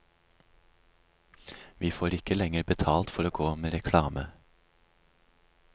Vi får ikke lenger betalt for å gå med reklame.